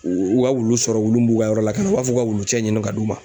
U ka wulu sɔrɔ wulu mun b'u ka yɔrɔ lakana u b'a fɔ k'o ka wulucɛ ɲini ka d'u ma.